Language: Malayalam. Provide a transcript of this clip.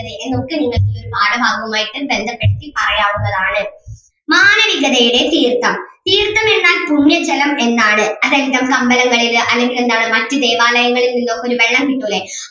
എന്നൊക്കെ നിങ്ങൾക്ക് ഈ പാഠഭാഗവുമായിട്ടും ബന്ധപ്പെടുത്തി പറയാവുന്നതാണ്. മാനവികതയുടെ തീർത്ഥം, തീർത്ഥം എന്നാൽ പുണ്യ ജലം എന്നാണ് അതെന്താ നമുക്ക് അമ്പലങ്ങളില് അല്ലെങ്കില് എന്താണ് മറ്റു ദേവാലയങ്ങളിൽ നിന്നൊക്കെ ഒരു വെള്ളം കിട്ടൂല്ലേ,